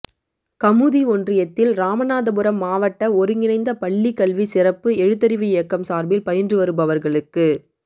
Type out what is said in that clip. கமுதி ஒன்றியத்தில் ராமநாதபுரம் மாவட்ட ஒருங்கிணைந்த பள்ளி கல்வி சிறப்பு எழுத்தறிவு இயக்கம் சாா்பில் பயின்று வருபவா்களுக்கு